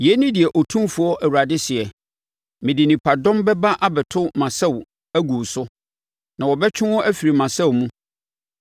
“ ‘Yei ne deɛ Otumfoɔ Awurade seɛ: “ ‘Mede nipadɔm bɛba abɛto mʼasau agu wo so, na wɔbɛtwe wo afiri mʼasau mu.